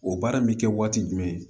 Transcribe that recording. O baara in bɛ kɛ waati jumɛn